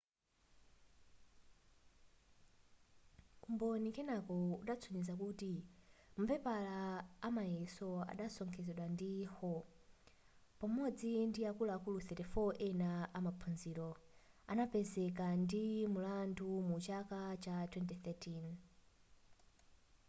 umboni kenako udasonyeza kuti mapepala amayeso adasokonezedwa ndi hall pamodzi ndiakuluakulu 34 ena amaphunziro adapezeka ndi mulandu mu chaka cha 2013